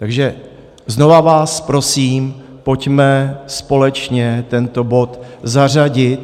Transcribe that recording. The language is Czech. Takže znovu vás prosím, pojďme společně tento bod zařadit.